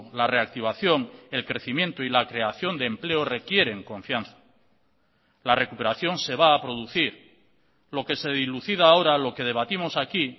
la reactivación el crecimiento y la creación de empleo requieren confianza la recuperación se va a producir lo que se dilucida ahora lo que debatimos aquí